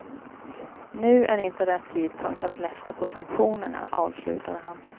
Nu är inte rätt tidpunkt att lätta på sanktionerna, avslutade han.